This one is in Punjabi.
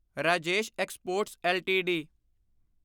Rajesh exports LTD